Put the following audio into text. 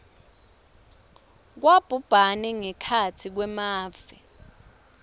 kwabhubhane ngekhatsi kwemave